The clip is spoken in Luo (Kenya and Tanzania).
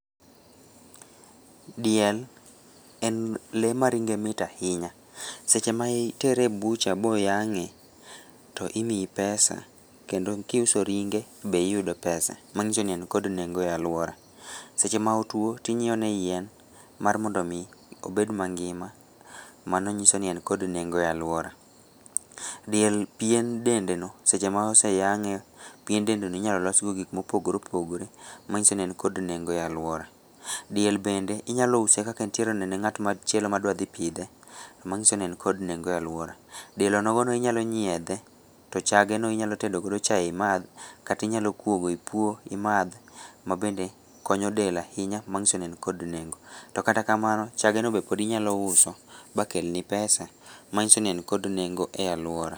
Diel en lee ma ringe mit ahinya, seche ma itere e butcher boyang'e to imiyi pesa kendo kiuso ringe be iyudo pesa manyiso ni en kod nengo e aluora, seche ma otwo to inyieo ne yien mar mondomi obed mangima , mano nyiso ni en kod nengo e aluora , diel pien dendeno seche mose yang'e, pien dendeno iyalologo gikmopogore opogore, manyiso ni en kod nengo e aluora, diel bende inyalouse kaka entiereni ne ng'atma dwadhi pidhe manyisoni en kod nengo e aluora, diel onogono inyalonyiedhe, to chageno iyalotedo godo chae imadh , kata inyalokuogo ipuo imadh , ma bende konyo del ahinya manyisoni en kod nengo, yo katakamano chageno be inyalouso ba kelni pesa manyisoni en kod nengo e aluora.